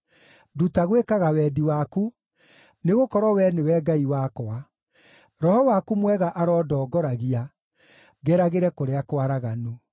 Nduta gwĩkaga wendi waku, nĩgũkorwo Wee nĩwe Ngai wakwa; Roho waku mwega arondongoragia, ngeragĩre kũrĩa kwaraganu.